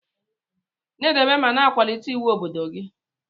Na edobe ma na akwalite iwu obodo gi.